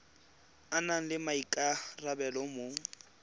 a nang le maikarabelo mo